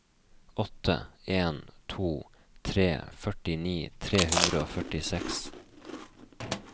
åtte en to tre førtini tre hundre og førtiseks